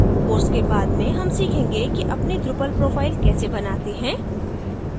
course के बाद में हम सीखेंगे कि अपनी drupal profile कैसे बनाएँ है